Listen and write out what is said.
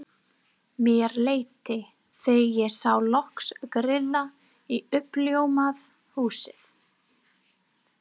Mér létti þegar ég sá loks grilla í uppljómað húsið.